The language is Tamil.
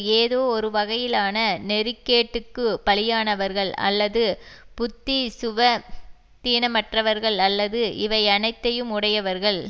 ஏதோ ஒரு வகையிலான நெறிகேட்டுக்கு பலியானவர்கள் அல்லது புத்தி சுவ தீனமற்றவர்கள் அல்லது இவை அனைத்தையும் உடையவர்கள்